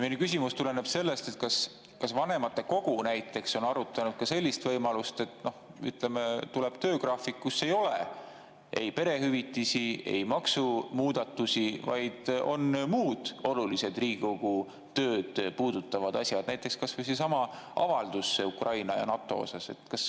Minu küsimus tuleneb sellest, kas vanematekogu näiteks on arutanud ka sellist võimalust, et tuleb töögraafik, kus ei ole ei perehüvitisi ega maksumuudatusi, vaid on muud olulised Riigikogu tööd puudutavad asjad, näiteks kas või seesama avaldus Ukraina ja NATO kohta.